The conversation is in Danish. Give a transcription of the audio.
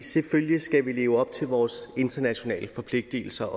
selvfølgelig skal vi leve op til vores internationale forpligtigelser